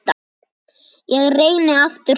Ég reyni aftur seinna